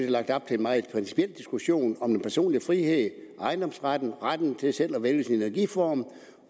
lagt op til en meget principiel diskussion om den personlige frihed ejendomsretten og retten til selv at vælge sin energiform